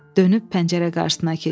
Dönüb pəncərə qarşısına keçdi.